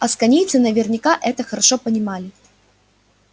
асконийцы наверняка это хорошо понимали